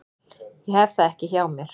Ég hef það ekki hjá mér.